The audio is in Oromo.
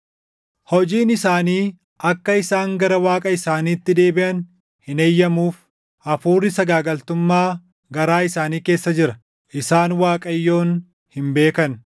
“Hojiin isaanii akka isaan gara Waaqa isaaniitti deebiʼan hin eeyyamuuf. Hafuurri sagaagaltummaa garaa isaanii keessa jira; isaan Waaqayyoon hin beekan.